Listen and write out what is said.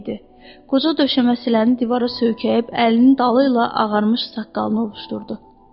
Qoca döşəməsiləni divara söykəyib əlinin dalı ilə ağarmış saqqalını ovuşdurdu.